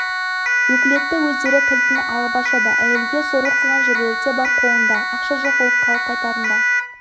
өкілетті өздері кілтін алып ашады әйелге зорлық қылған жерлері де бар қолында ақша жоқ болып қайтарында